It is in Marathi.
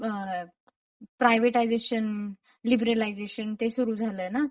अ.. प्रायव्हेटायझेशन लीबरलायझेशन ते सुरू झालंयना..